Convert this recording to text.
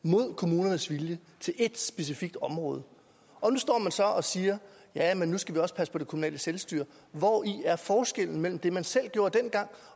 mod kommunernes vilje til ét specifikt område og nu står man så og siger at nu skal vi også passe på det kommunale selvstyre hvori er forskellen mellem det man selv gjorde dengang